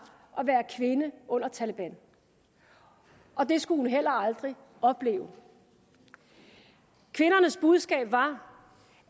at være kvinde under taleban og det skulle hun heller aldrig opleve kvindernes budskab var